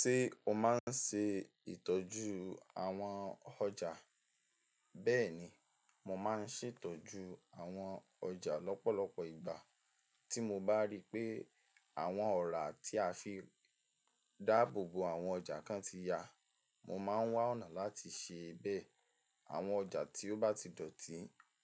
Ṣé o máa ń ṣe ìtọ́jú àwọn ọjà? Bẹ́ẹ̀ni, mo máa ń ṣètọ́jú àwọn ọjà lọ́pọ̀lọpọ̀ ìgbà. Tí mo bá rí pé àwọn ọ̀rá tí a fi dáàbò bo àwọn ọjà kan ti ya, mo máa ń wá ọ̀nà láti ṣe bẹ́ẹ̀. Àwọn ọjà tí ó bá ti dọ̀tí,